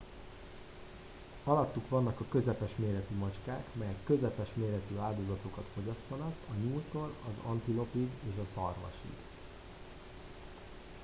alattuk vannak a közepes méretű macskák melyek közepes méretű áldozatokat fogyasztanak a nyúltól az antilopig és a szarvasig